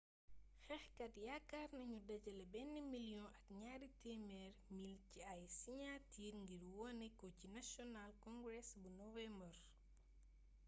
xeexkat yakaar nagnu dajalé ben million ak niari temer mil ci ay siniatir ngir woné ko ci national congress bu nowembar